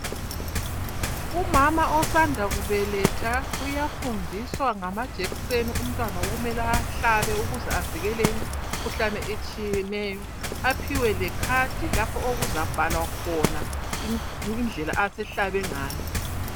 Umama osanda kubeletha uyafundiswa ngamajekiseni umtwana okumele awahlabe ukuze avikelekeke emikhuhlaneni etshiyeneyo aphiwe le card lapho azabhala khona indlela asehlabe ngayo.